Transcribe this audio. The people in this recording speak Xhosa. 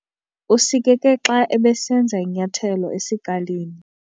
Usikeke xa ebesenza inyathelo esikalini.